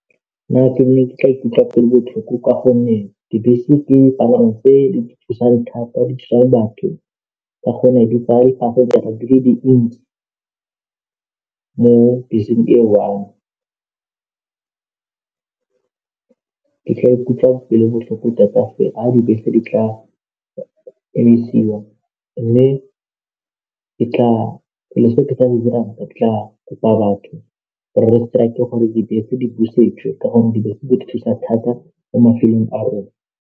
Nna ke ne ke tla ikutlwa ke le botlhoko ka gonne dibese ke dipalangwa tse di thusang thata di thusa batho ka gonne di di le dintsi mo beseng e one ke tla ikutlwa ke le botlhoko tota fa dibese di tla emisiwa mme ke tla kopa batho gore re strike gore dibese di busetswe ka gonne dibese di thusa thata mo mafelong a rona.